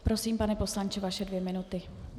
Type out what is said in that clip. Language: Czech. Prosím, pane poslanče, vaše dvě minuty.